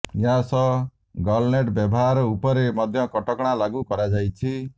ଏହାସହ ଗଲ ନେଟ୍ ବ୍ୟବହାର ଉପରେ ମଧ୍ୟ କଟକଣା ଲାଗୁ କରାଯାଇଛି